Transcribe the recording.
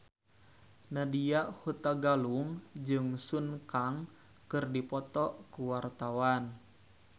Nadya Hutagalung jeung Sun Kang keur dipoto ku wartawan